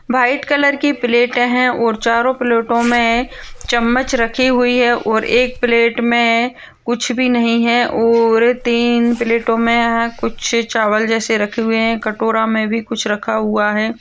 White colour की plate है ओर चारों प्लेटों में चम्मच रखे हुई है ओर एक प्लेट में कुछ भी नहीं है ओर तीन प्लेटों में यहाँ कुछ चावल जैसे रखे हुए है कटोरा में भी कुछ रखा हुआ हैं।